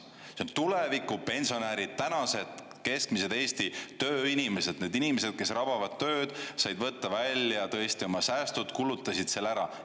See on tuleviku pensionärid, tänased keskmised Eesti tööinimesed, need inimesed, kes rabavad tööd, said võtta välja tõesti oma säästud, kulutasid selle ära.